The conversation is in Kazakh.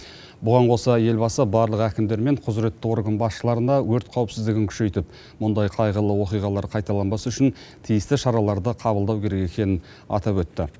бұған қоса елбасы барлық әкімдер мен құзіретті орган басшыларына өрт қауіпсіздігін күшейтіп мұндай қайғылы оқиғалар қайталанбас үшін тиісті шараларды қабылдау керек екенін атап өтті